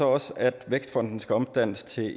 også at vækstfonden skal omdannes til